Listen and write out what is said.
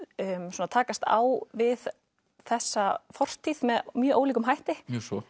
svona takast á við þessa fortíð með mjög ólíkum hætti